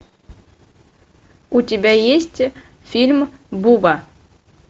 у тебя есть фильм буба